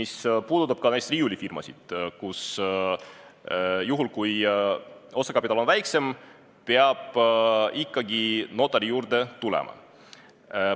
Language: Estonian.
See puudutab ka näiteks riiulifirmasid, kus juhul, kui osakapital on väiksem, peab ikkagi notari juurde tulema.